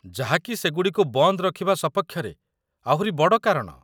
ଯାହା କି ସେଗୁଡ଼ିକୁ ବନ୍ଦ ରଖିବା ସପକ୍ଷରେ ଆହୁରି ବଡ଼ କାରଣ!